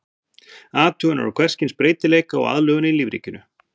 Athuganir á hvers kyns breytileika og aðlögun í lífríkinu.